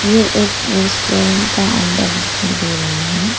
ये एक रेस्टोरेंट का अंदर दिखाई दे रही है।